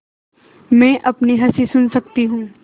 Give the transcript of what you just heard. मैं अपनी हँसी सुन सकती हूँ